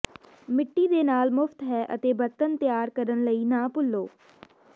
ਮਿੱਟੀ ਦੇ ਨਾਲ ਮੁਫ਼ਤ ਹੈ ਅਤੇ ਬਰਤਨ ਤਿਆਰ ਕਰਨ ਲਈ ਨਾ ਭੁੱਲੋ